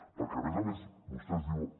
perquè a més a més vostès diuen